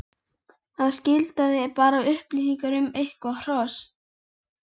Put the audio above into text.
en það skilaði bara upplýsingum um eitthvert hross.